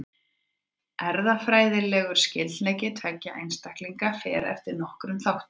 Erfðafræðilegur skyldleiki tveggja einstaklinga fer eftir nokkrum þáttum.